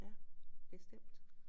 Ja bestemt